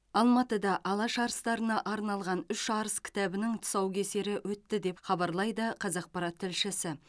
алматыда алаш арыстарына арналған үш арыс кітабының тұсаукесері өтті деп хабарлайды қазақпарат тілшісі